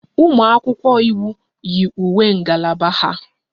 Ụmụ akwụkwọ iwu yi uwe ngalaba ha